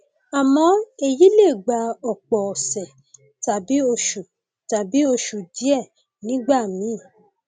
àmọ èyí lè gba ọpọ ọsẹ tàbí oṣù tàbí oṣù díẹ nígbà míì